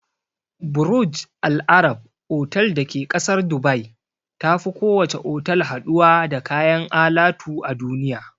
Burj al Arab otal da ke ƙasar Dubai tafi kowace otal haɗuwa da kayan alatu a duniya.